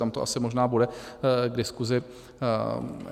Tam to asi možná bude k diskusi.